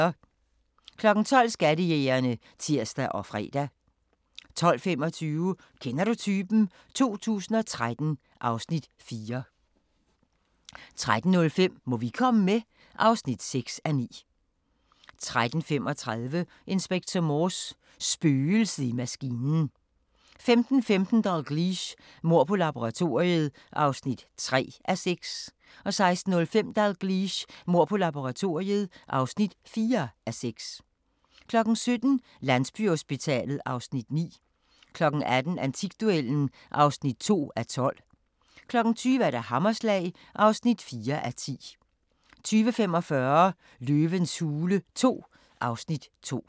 12:00: Skattejægerne (tir og fre) 12:25: Kender du typen? 2013 (Afs. 4) 13:05: Må vi komme med? (6:9) 13:35: Inspector Morse: Spøgelset i maskinen 15:15: Dalgliesh: Mord på laboratoriet (3:6) 16:05: Dalgliesh: Mord på laboratoriet (4:6) 17:00: Landsbyhospitalet (Afs. 9) 18:00: Antikduellen (2:12) 20:00: Hammerslag (4:10) 20:45: Løvens hule II (Afs. 2)